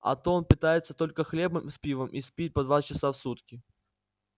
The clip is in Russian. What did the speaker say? а то он питается только хлебом с пивом и спит по два часа в сутки